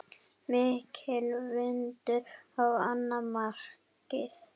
Mikill vindur á annað markið.